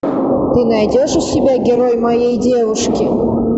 ты найдешь у себя герой моей девушки